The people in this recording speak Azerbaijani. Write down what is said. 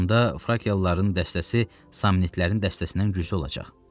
Belə olanda frakiyalıların dəstəsi samnitlərin dəstəsindən güclü olacaq.